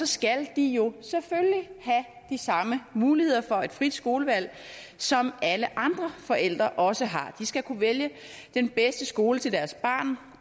skal have de samme muligheder for et frit skolevalg som alle andre forældre også har de skal kunne vælge den bedste skole til deres barn